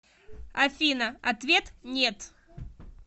афина ответ нет